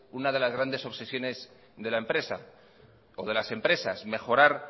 una de las grandes obsesiones de la empresa o de las empresas mejorar